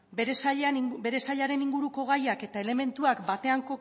bere sailaren inguruko gaiak eta elementuak batean